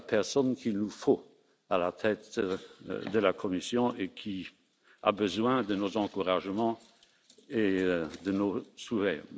C'est la personne qu'il nous faut à la tête de la Commission et elle a besoin de nos encouragements et de nos souhaits.